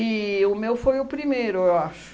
o meu foi o primeiro, eu acho.